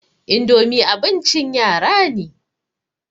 idomi abincin yara ne